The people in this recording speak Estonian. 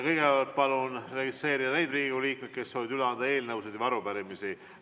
Kõigepealt palun registreeruda neil Riigikogu liikmetel, kes soovivad üle anda eelnõusid või arupärimisi.